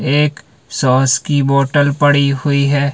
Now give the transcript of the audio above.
एक सॉस की बॉटल पड़ी हुई है।